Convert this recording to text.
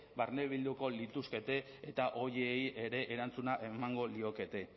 barnebilduko lituzke eta horiei ere erantzuna emango lieke